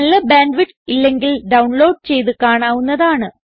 നല്ല bandwidth ഇല്ലെങ്കിൽ download ചെയ്ത് കാണാവുന്നതാണ്